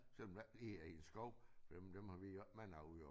Selvom det ikke lige er i en skov for dem dem har vi jo ikke mange af udover